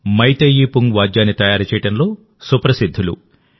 మైతేయీ పుంగ్ వాద్యాన్ని తయారు చేయడంలో సుప్రసిద్ధులు